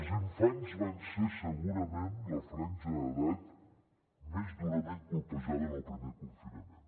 els infants van ser segurament la franja d’edat més durament colpejada en el primer confinament